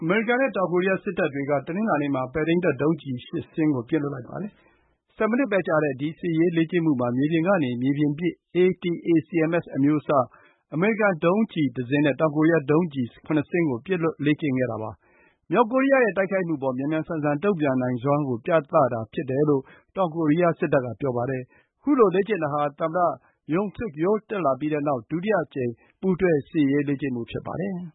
မေရိကန်နဲ့ တောင်ကိုရီးယားစစ်တပ်တွေက တနင်္လာနေ့မှာ ပဲ့ထိန်းတပ်ဒုံးကျည် ရှစ်စင်းကို ပစ်လွှတ်လိုက်ပါတယ်။ ဆယ်မိနစ်ပဲကြာတဲ့ ဒီ စစ်ရေးလေ့ကျင့်မှုမှာ မြေပြင်ကနေ မြေပြင်ပစ် ATACMS အမျိုးအစား အမေရိကန် ဒုံးကျည် ၁ စင်းနဲ့ တောင်ကိုရီးယား ဒုံးကျည် ၇ စင်းကို ပစ်လွှတ်လေ့ကျင့်ခဲ့တာပါ။ မြောက်ကိုရီးယားရဲ့တိုက်ခိုက်မှုအပေါ် မြန်မြန်ဆန်ဆန် တုံ့ပြန်နိုင်စွမ်းကို ပြသတာ ဖြစ်တယ်လို့ တောင်ကိုရီးယားစစ်တပ်က ပြောပါတယ်။ ခုလိုလေ့ကျင့်တာဟာ သမ္မတ Yoon Suk Yeol တက်လာပြီးတဲ့နောက် ဒုတိယအကြိမ် ပူးတွဲစစ်ရေးလေ့ကျင့်မှု ဖြစ်ပါတယ်။